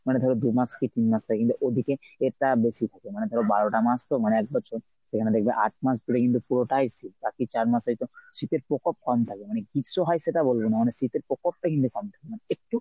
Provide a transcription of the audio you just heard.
মানে ধর দু’মাস কী তিন মাস থাকে কিন্তু ওদিকে এটা বেশি থাকে মানে ধর বারোটা মাস তো মানে একবছর। তো এখানে দেখবে আট মাস ধরে কিন্তু পুরোটাই শীত বাকি চার মাস হয়ত শীতের প্রকোপ কম থাকবে মানে গ্রীষ্ম হয় সেটা বলবো না মানে শীতের পকপটা কিন্তু কম থাকে মানে একটু